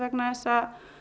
vegna þess að